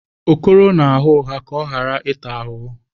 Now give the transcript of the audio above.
Okoro na-agha ụgha ka ọ ghara ịta ahụhụ.